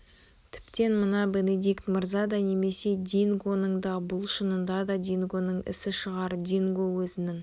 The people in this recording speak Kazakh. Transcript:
тіптен мына бенедикт мырза да немесе дингоның да бұл шынында да дингоның ісі шығар динго өзінің